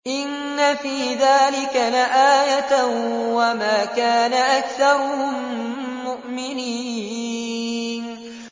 إِنَّ فِي ذَٰلِكَ لَآيَةً ۖ وَمَا كَانَ أَكْثَرُهُم مُّؤْمِنِينَ